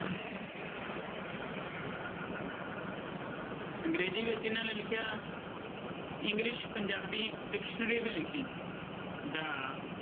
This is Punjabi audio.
ਅੰਗਰੇਜ਼ੀ ਵਿੱਚ ਇਹਨਾਂ ਨੇ ਲਿਖਿਆ english ਪੰਜਾਬੀ dictionary ਵੀ ਲਿਖੀ ਦਾ